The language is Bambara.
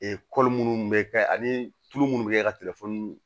minnu bɛ kɛ ani tulu munnu bɛ kɛ ka telefɔni